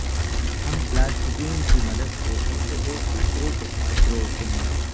ہم پلاسٹکین کی مدد سے ان کو ایک دوسرے کے ساتھ جوڑتے ہیں